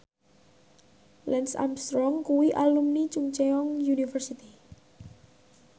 Lance Armstrong kuwi alumni Chungceong University